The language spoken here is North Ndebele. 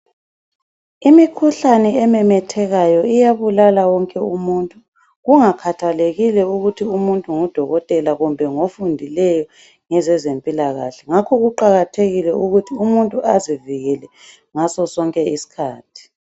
Imikhuhlane ememethekayo iyabulala wonke umuntu. Kungakhathalekile ukuthi umuntu ngudokotela kumbe ngofundileyo ngezezempilakahle. Ngakho kuqakathekile ukuthi umuntu azivikele ngasosonke isikhathi.